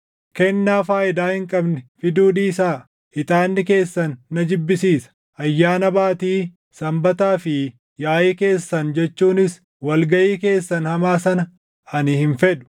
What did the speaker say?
Kennaa faayidaa hin qabne fiduu dhiisaa! Ixaanni keessan na jibbisiisa. Ayyaana Baatii, Sanbataa fi yaaʼii keessan jechuunis wal gaʼii keessan hamaa sana ani hin fedhu.